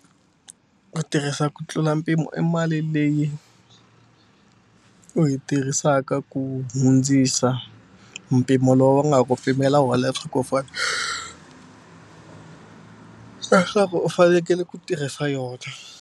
Ku tirhisa ku tlula mpimo i mali leyi u yi tirhisaka ku hundzisa mpimo lowu va nga ku pimela wona leswaku u leswaku u fanekele ku tirhisa yona.